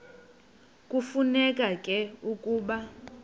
kufuneka ke ukuba